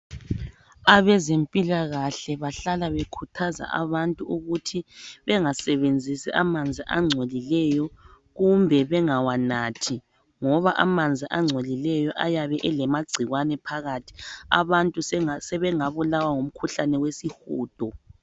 Abezempilakahle bahlala bekhuthaza abantu ukuthi bengasebenzisi amanzi angcolileyo kumbe bengawanathi ngoba amanzi angcolileyo ayabe elamagcikwane phakathi. Abantu sebengabulawa ngumkhuhlane wesihudo.